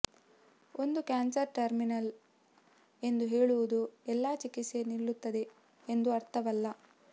ಒಂದು cancer terminal ಎಂದು ಹೇಳುವುದು ಎಲ್ಲಾ ಚಿಕಿತ್ಸೆ ನಿಲ್ಲುತ್ತದೆ ಎಂದು ಅರ್ಥವಲ್ಲ